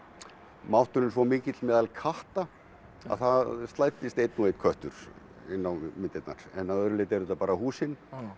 mátturinn svo mikill meðal katta að það slæddist einn og einn köttur inn á myndirnar en að öðru leyti eru þetta bara húsin